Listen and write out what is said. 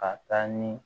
Ka taa ni